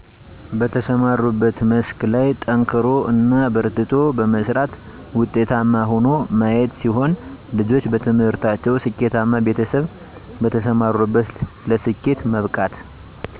በተሰማሩበት መስክ ላይ ጠንክሮ እና በርትቶ በመስራት ውጤታማ ሆኖ ማየት ሲሆን ልጆች በትምህርታቸው ስኬተማ ቤተሰብ በተሰማሩበት ለስኬት መብቃት